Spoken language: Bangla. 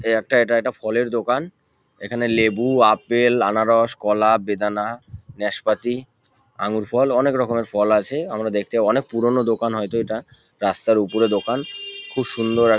এই একটা এটা একটা ফলের দোকান এখানে লেবু আপেল আনারস কলা বেদনা নাসপাতি আঙ্গুর ফল অনকে রকমের ফল আছে। আমরা দেখতে অনেক পুরোনো দোকান হয়তো এটা। রাস্তার উপরে দোকান। খুব সুন্দর এক --